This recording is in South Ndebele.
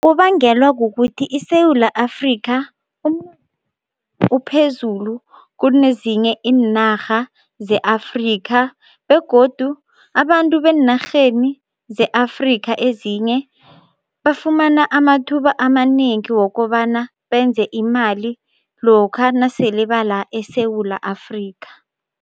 Kubangelwa kukuthi iSewula Afrika umnotho uphezulu kunezinye iinarha ze-Afrika begodu abantu beenarheni ze-Afrika ezinye bafumana amathuba amanengi wokobana benze imali lokha nasele bala eSewula Afrika.